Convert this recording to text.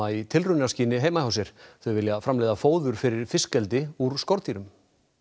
í tilraunaskyni heima hjá sér þau vilja framleiða fóður fyrir fiskeldi úr skordýrum